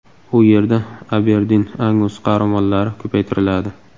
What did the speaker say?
U yerda Aberdin-Angus qoramollari ko‘paytiriladi.